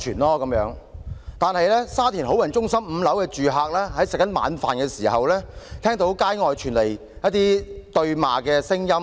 可是，沙田好運中心5樓的住客吃晚飯時，聽到街外傳來對罵聲。